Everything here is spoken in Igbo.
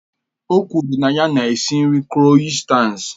O kwuru na ya na-esi nri kroissants